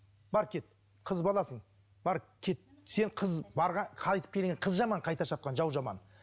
бар кет қыз баласың бар кет сен қыз қайтып келген қыз жаман қайта шапқан жау жаман